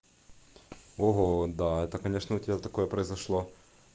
ого да это конечно у тебя такое произошло